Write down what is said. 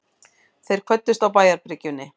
Þeir kvöddust á bæjarbryggjunni.